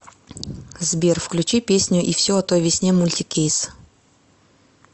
сбер включи песню и все о той весне мультикейс